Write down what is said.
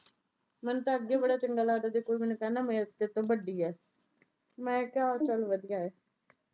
ਮੈਨੂੰ ਤਾਂ ਅੱਗੇ ਬੜਾ ਚੰਗਾ ਲੱਗਦਾ ਜਦ ਕੋਈ ਮੈਨੂੰ ਕਹਿੰਦਾ ਮੈਂ ਤੈਥੋਂ ਵੱਡੀ ਆਂ। ਮੈਂ ਕਿਹਾ ਚੱਲ ਵਧੀਆ ਐ।